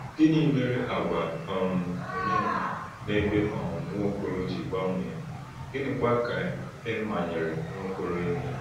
Gịnị mere àgwà um Onyema n’ebe um Nwaokolo ji gbanwee, gịnịkwa ka e manyere Nwaokolo ime?